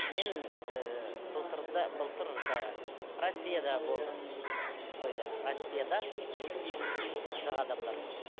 мен ііі былтыр да былтыр да россияда болдым тойда россияда өте қазақ адамдар көп